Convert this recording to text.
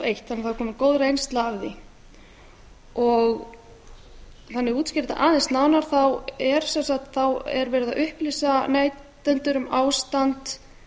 eitt þannig að það er komin góð reynsla af því þannig að ég útskýri þetta aðeins nánar er verið að upplýsa neytendur um ástand